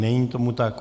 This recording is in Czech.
Není tomu tak.